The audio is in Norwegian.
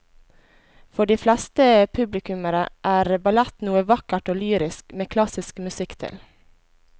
For de fleste publikummere er ballett noe vakkert og lyrisk med klassisk musikk til.